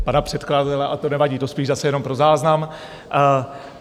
Pana předkladatele, a to nevadí, to spíše zase jenom pro záznam.